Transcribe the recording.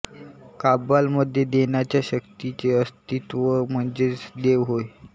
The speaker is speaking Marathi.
काब्बालः मध्ये देण्याच्या शक्तीचे अस्थित्व म्हणजेच देव होय